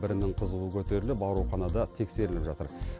бірінің қызуы көтеріліп ауруханада тексеріліп жатыр